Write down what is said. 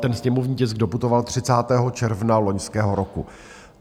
Ten sněmovní tisk doputoval 30. června loňského roku.